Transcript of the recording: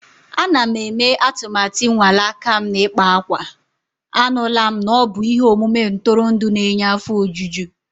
Ana m eme atụmatụ ịnwale aka m n'ịkpa akwa. Anụla m na ọ bụ ihe omume ntụrụndụ na-enye afọ ojuju.